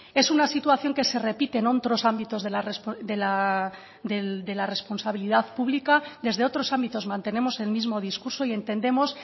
es una situación que se repite en otros ámbitos de la responsabilidad pública desde otros ámbitos mantenemos el mismo discurso y entendemos